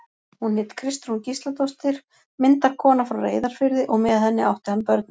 Hún hét Kristrún Gísladóttir, myndarkona frá Reyðarfirði, og með henni átti hann börnin.